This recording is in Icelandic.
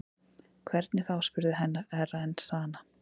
Hvernig þá spurði Herra Enzana.